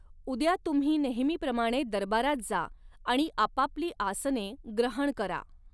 उद्या तुम्ही नेहमीप्रमाणे दरबारात जा, आणि आपापली आसने ग्रहण करा.